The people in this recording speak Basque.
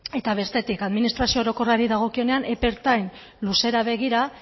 eta bestetik administrazio orokorrari dagokionean epe ertain luzera begira